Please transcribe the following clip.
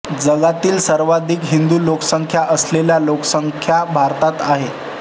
जगातील सर्वाधिक हिंदू लोकसंख्या असलेल्या लोकसंख्या भारतात आहे